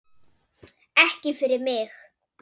Ekki fyrir mig!